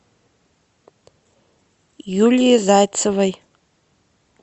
юлии зайцевой